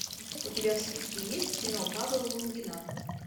у тебя в списке есть кино павла лунгина